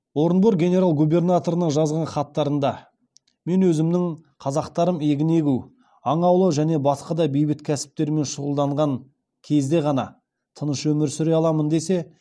орынбор генерал губернаторына жазған хаттарында мен өзімнің қазақтарым егін егу аң аулау және басқа да бейбіт кәсіптермен шұғылданған кезде ғана тыныш өмір сүре аламын десе